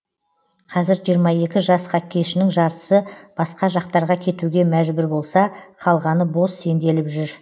қазір жиырма екі жас хоккейшінің жартысы басқа жақтарға кетуге мәжбүр болса қалғаны бос сенделіп жүр